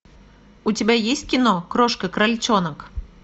у тебя есть кино крошка крольчонок